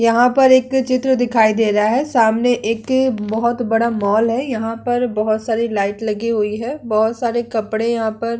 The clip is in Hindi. यहां पर एक अ चित्र दिखाई दे रहा है सामने एक अ बहुत बड़ा मॉल है। यहां पर बहुत सारी लाइट लगी हुई है। बहुत सारे कपड़े यहां पर--